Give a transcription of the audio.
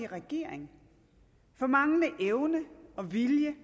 regering for manglende evne og vilje